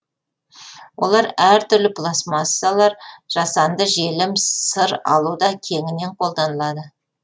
олар әр түрлі пластмассалар жасанды желім сыр алуда кеңінен қолданылады